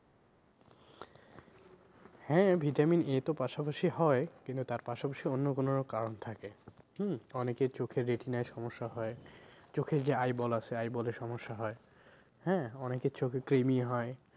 হ্যাঁ vitamin A তো পাশা পাশি হয়ে কিন্তু তার পাশা পাশি অন্য কোনো কারণ থাকে হম অনেকের চোখে retina য়ে সমস্যা হয়ে চোখের যে eyeball আছে eyeball এ সমস্যা হয় হ্যাঁ? অনেকের চোখে কৃমি হয়।